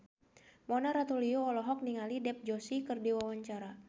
Mona Ratuliu olohok ningali Dev Joshi keur diwawancara